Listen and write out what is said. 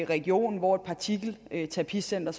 region hvor et partikelterapicenter